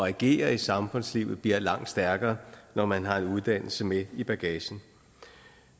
at agere i samfundslivet bliver langt stærkere når man har en uddannelse med i bagagen